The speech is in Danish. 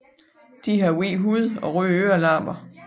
De har hvid hud og røde ørelapper